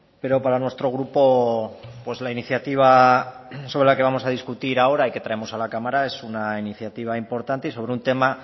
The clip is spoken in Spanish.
pero para nuestro grupo la iniciativa sobre la que vamos a discutir ahora y que traemos a la cámara es una iniciativa importante y sobre un tema